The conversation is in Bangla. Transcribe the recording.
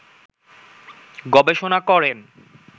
গবেষণা করেন